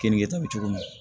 Kenige ta bɛ cogo min na